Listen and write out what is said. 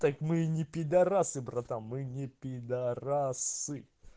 так мы и не пидарасы братан мы не пидарасы